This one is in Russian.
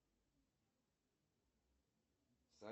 сбер в субботу какое будет число